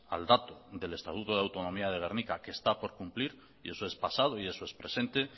al dato del estatuto de autonomía de gernika que está por cumplir y eso es pasado y eso es presente